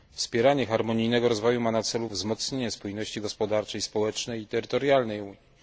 Wspieranie harmonijnego rozwoju ma na celu wzmocnienie spójności gospodarczej, społecznej i terytorialnej Unii.